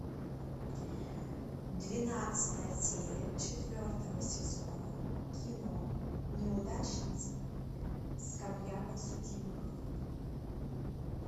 двенадцатая серия четвертого сезона кино неудачница скамья подсудимых